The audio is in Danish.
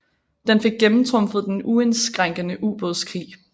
Den fik gennemtrumfet den uindskrænkede ubådskrig